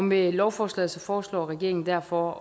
med lovforslaget foreslår regeringen derfor